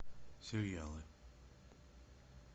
сериалы